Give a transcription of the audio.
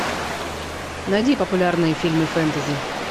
найди популярные фильмы фэнтези